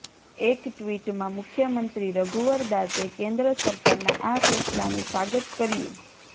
એક ટ્વિટમાં મુખ્યમંત્રી રઘુવર દાસે કેન્દ્ર સરકારના આ ફેસલાનું સ્વાગત કર્યું